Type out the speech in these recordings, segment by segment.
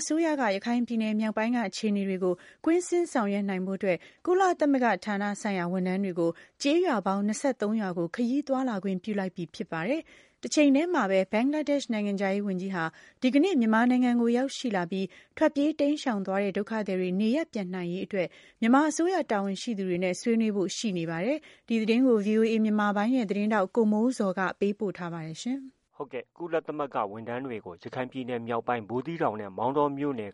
အစိုးရက ရခိုင်ပြည်နယ်မြောက်ပိုင်းက အခြေအနေတွေကို ကွင်းဆင်းဆောင်ရွက်နိုင်ဖို့အတွက် ကုလသမဂ္ဂဌာနဆိုင်ရာ ဝန်ထမ်းတွေကို ကျေးရွာပေါင်း ၂၃ရွာကို ခရီးသွားလာခွင့်ပြုလိုက်ပြီဖြစ်ပါတယ်။ တချိန်တည်းမှာပဲ ဘင်္ဂလားဒေ့ရှ်နိုင်ငံခြားရေးဝန်ကြီးဟာ ဒီကနေ့ မြန်မာနိုင်ငံကို ရောက်ရှိလာပြီး ထွက်ပြေးတိမ်းရှောင်သွားတဲ့ ဒုက္ခသည်တွေနေရပ်ပြန်နိုင်အရေးအတွက် မြန်မာအစိုးရတာဝန်ရှိသူတွေနဲ့ ဆွေးနွေးဖို့ရှိနေပါတယ်။ ဒီသတင်းကို ဗွီအိုအေမြန်မာပိုင်းရဲ့သတင်းထောက် ကိုမိုးဇော်က တင်ပြထားပါတယ်။ ကုလသမဂ္ဂဝန်ထမ်းတွေကို ရခိုင်ပြည်နယ်မြောက်ပိုင်း ဘူးသီးတောင်နဲ့ မောင်တောမြို့နယ်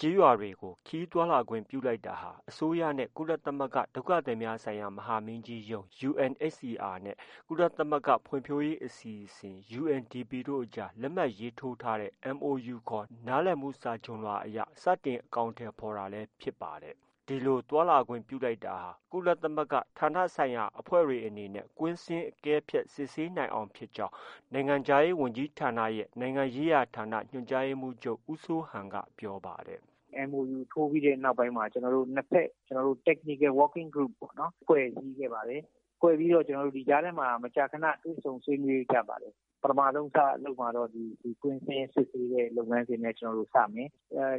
ကျေးရွာ တွေကို ခရီးသွားလာခွင်ပြုလိုက်တာဟာ အစိုးရနဲ့ ကုလသမဂ္ဂ ဒုက္ခသည်များဆိုင်ရာ မဟာမင်းကြီးရုံးUNHCR နဲ့ ကုလသမဂ္ဂဖွံ့ဖြိုးရေးအစီအစဉ် UNDPတို့အကြား လက်မှတ်ရေးထိုးထားတဲ့ MoU ခေါ် နားလည်မှု စာချွန်လွှာကို စတင်အကောင်အထည်ဖော်တာလည်း ဖြစ်ပါတယ်။ ဒီလို သွားလာခွင့်ပြုလိုက်တာ ကုလသမဂ္ဂဌာနဆိုင်ရာအဖွဲ့တွေအနေနဲ့ ကွင်းဆင်း၊ အကဲဖြတ် စစ်ဆေးနိုင်အောင်ဖြစ်ကြောင်း နိုင်ငံခြားရေးဝန်ကြီးဌာနရဲ့ နိုင်ငံရေးရာဌာန ညွှန်ကြားရေးမှုးချုပ် ဦးစိုးဟန်က ပြောပါတယ်။ “ MoU ထိုးပြီးတဲ့နောက်ပိုင်းမှာ ကျနော်တို့ နှစ်ဖက် Technical Working Group ပေါ့။ ဖွဲ့စည်းခဲ့ပါတယ်။ ဖွဲ့ပြီးတော့ ဒီကြားထဲမှာ မကြာခန တွေ့ဆုံဆွေးနွေးကြပါတယ်။ ပထမဆုံးလုပ်မှာကတော့ ဒီကွင်းဆင်း စစ်ဆေးတဲ့ လုပ်ငန်းစဉ်နဲ့ စမယ်။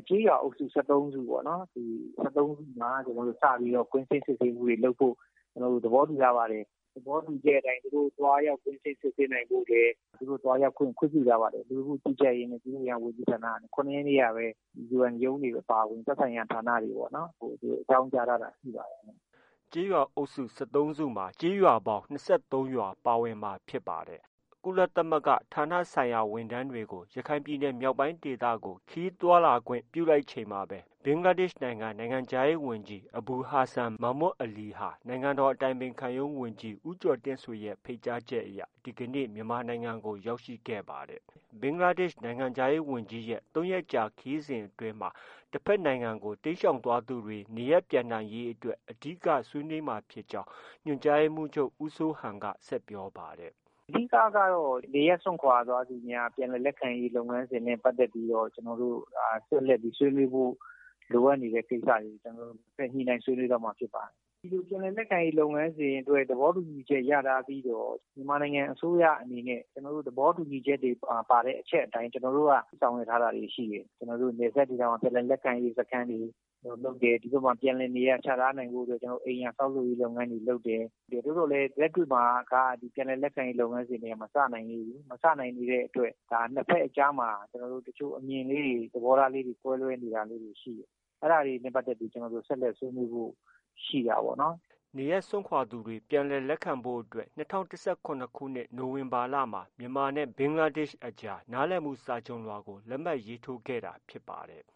ကျေးရွာအုပ်စု ၁၃စု ၊ ဒီ၁၃စုမှာ စပြီးတော့ ကွင်းဆင်းစစ်ဆေးမှုတွေ လုပ်ဖို့ သဘောတူထားပါတယ်။ အဲဒီသဘောတူချက်အတိုင်း သူတို့ သွားရောက် ကွင်းဆင်းစစ်ဆေးနိုင်ဖို့ သူတို့ သွားရောက်ခွင့် ခွင့်ပြုထားပါတယ်။ လူဝန်မှုကြီးကြပ်ရေးနဲ့ ပြည်သူ့အင်အားဝန်ကြီးဌာနက ၇ရက်နေ့ကပဲ UN ရုံးတွေအပါအဝင် သက်ဆိုင်ရာ ဌာနတွေကို အကြောင်းကြားထားတာ ရှိပါတယ်။ ” ကျေးရွာအုပ်စု ၁၃စုမှာ ကျေးရွာပေါင်း ၂၃ရွာပါဝင်မှာဖြစ်ပါတယ်။ ကုလသမဂ္ဂဌာနဆိုင်ရာ ဝန်ထမ်းတွေကို ရခိုင်ပြည်နယ်မြောက်ပိုင်းဒေသကို ခရီးသွားလာခွင့်ပြုလိုက်ချိန်မှာပဲ ဘင်္ဂလားဒေ့ရှ်နိုင်ငံခြားရေးဝန်ကြီး အဘူဟာဆန် မာမွတ်အလီဟာ နိုင်ငံတော်အတိုင်ပင်ခံရုံးဝန်ကြီး ဦးကျော်တင်ဆွေရဲ့ ဖိတ်ကြားချက်အရ ဒီကနေ့ မြန်မာနိုင်ငံကို ရောက်ရှိခဲ့ပါတယ်။ ဘင်္ဂလားဒေ့ရှ်နိုင်ငံခြားရေးဝန်ကြီးဝန်ကြီးရဲ့ ၃ရက်ကြာခရီးစဉ်အတွင်းမှာ တဖက်နိုင်ငံကို တိမ်းရှောင်သွားသူတွေ နေရပ်ပြန်နိုင်ရေးအတွက် အဓိက ဆွေးနွေးမှာဖြစ်ကြောင်း ညွှန်ကြားရေးမှုးချုပ် ဦးစိုးဟန်က ဆက်ပြောပါတယ်။ “ အဓိက ကတော့ နေရပ်စွန့်ခွာသွားသူများ ပြန်လည်လက်ခံရေးလုပ်ငန်းစဉ်နဲ့ပတ်သက်ပြီး ဆက်လက်ပြီးဆွေးနွေးဖို့ လိုအပ်နေတဲ့ကိစ္စတွေ ကျနော်တို့ ဆက်လက်ဆွေးနွေးသွားမှာဖြစ်ပါတယ်။ ဒီလို ပြန်လည် လက်ခံရေးလုပ်ငန်းစဉ်အတွက် သဘောတူညီချက် ရထားပြီးတော့ မြန်မာနိုင်ငံအစိုးရအနေနဲ့ သဘောတူညီချက်မှာ ပါတဲ့အချက်အတိုင်း ကျနော်တို့က ဆောင်ရွက်ထားတာတွေ ရှိတယ်။ နယ်စပ်ဒေသမှာ ပြန်လည်လက်ခံရေးစခန်းတွေ လုပ်တယ်။ ဒီဖက်မှာ ပြန်လည်နေရာချထားရေးအတွက် အိမ်ယာဆောက်လုပ်ရေးလုပ်ငန်းတွေ လုပ်တယ်။ သို့သော်လည်း လက်တွေ့မှာက ပြန်လည်လက်ခံရေးလုပ်ငန်းတွေက မစနိုင်သေးဘူး။ မစနိုင်သေးတဲ့အတွက် နှစ်ဖက်အကြားမှာ အမြင်လေးတွေ သဘောထားလေးတွေ ကွဲလွဲနေတာတွေ ရှိတယ်။ အဲဒါတွေနဲ့ပတ်သက်ပြီး ကျနော်တို့ ဆက်လက် ဆွေးနွေးဖို့ ရှိတာပေါ့နော်။ ” နေရပ်စွန့်ခွာသွားသူတွေ ပြန်လည်လက်ခံဖို့အတွက် ၂၀၁၇ခုနှစ် နိုဝင်ဘာလမှာ မြန်မာနဲ့ ဘင်္ဂလားဒေ့ရှ်နိုင်ငံအကြားမှာ နားလည်မှုစာချွန်လွှာကို လက်မှတ်ရေးထိုးထားတာဖြစ်ပါတယ်။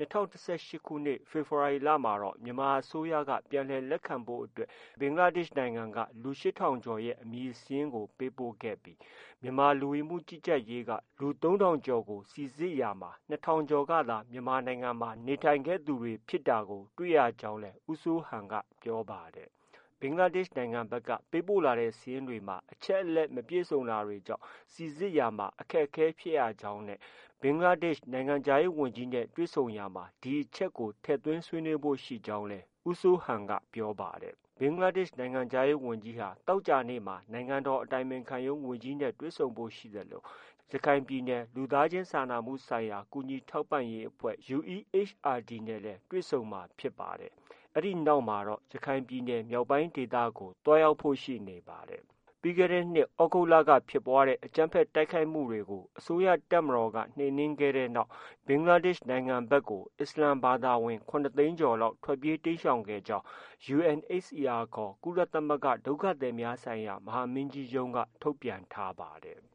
၂၀၁၈ခုနှစ် ဖေဖေါ်ဝါရီလမှာ မြန်မာအစိုးရက ပြန်လည်လက်ခံဖို့အတွက် ဘင်္ဂလားဒေ့ရှ်အစိုးရက လူ၈ထောင်ကျော် ရဲ့ အမည်စာရင်းတွေကို ပေးပို့ခဲ့ပြီး မြန်မာ လူဝင်မှုကြီးကြပ်ရေးက လူ၃ထောင်ကျော်ကို စိစစ်ရာမှာ ၂ထောင်ကျော်သာ မြန်မာပြည်မှာ နေထိုင်သူတွေဖြစ်တာကို တွေ့ရကြောင်းလည်း ဦးစိုးဟန်က ပြောပါတယ်။ ဘင်္ဂလားဒေ့ရ်ှ နိုင်ငံဖက်က ပေးပို့လာတဲ့ စာရင်းတွေဟာ အချက်အလက်မပြည်စုံတာကြောင့် စိစစ်ရာမှာ အခက်အခဲရှိရကြောင်းနဲ့ ဘင်္ဂလားဒေရှ်နိုင်ငံခြားရေးဝန်ကြီးနဲ့တွေ့ဆုံရာမှာလည်း ဒီအချက်ကို ထည့်သွင်းဆွေးနွေးဖို့ ရှိနေကြောင်း ပြောပါတယ်။ ဘင်္ဂလားဒေရှ်နိုင်ငံခြားရေးဝန်ကြီးဟာ သောကြာနေ့မှာ နိုင်ငံတော်အတိုင်ပင်ခံရုံးဝန်ကြီးနဲ့ တွေ့ဆုံဖို့ ရှိသလို ရခိုင်ပြည်နယ် လူသားချင်းစာနာမှု ဆိုင်ရာ ကူညီထောက်ပံ့ရေးအဖွဲ့ UEHRD နဲ့လည်း တွေ့ဆုံမှာဖြစ်ပါတယ်။ အဲဒီနောက်မှာတော့ ရခိုင်ပြည်နယ် မြောက်ပိုင်းဒေသကိုလည်း သွားရောက်ဖို့ရှိနေပါတယ်။ ပြီးခဲ့တဲ့နှစ် သြဂုတ်လက ဖြစ်ပွားတဲ့ အကြမ်းဖက် တိုက်ခိုက်မှု တွေကို အစိုးရတပ်မတော်က နှိမ်နင်းခဲ့တဲ့နောက် ဘင်္ဂလား ဒေ့ရှ်နိုင်ငံဖက်ကို အစ္စလာမ်ဘာသာဝင် ၇သိန်းကျော်လောက်ဟာ ထွက်ပြေးတိမ်းရှောင် သွားခဲ့ကြောင်း UNHCR ခေါ် ကုလသမဂ္ဂ ဒုက္ခသည်များဆိုင်ရာ မဟာမင်းကြီးရုံးက ထုတ်ပြန်ထားပါတယ်။